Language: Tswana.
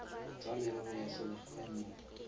tsa merero ya selegae mo